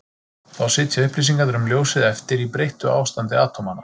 Þá sitja upplýsingarnar um ljósið eftir í breyttu ástandi atómanna.